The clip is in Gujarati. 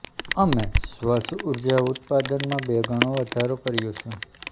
અમે સ્વચ્છ ઉર્જા ઉત્પાદનમાં બે ગણો વધારો કર્યો છે